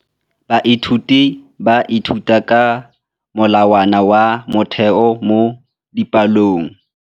Baithuti ba ithuta ka molawana wa motheo mo dipalong.